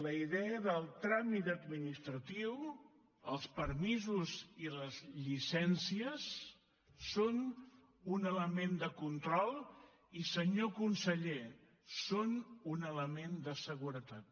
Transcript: la idea del tràmit administratiu els permisos i les llicències són un element de control i senyor conseller són un element de seguretat